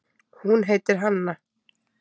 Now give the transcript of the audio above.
Hún heitir Hanna.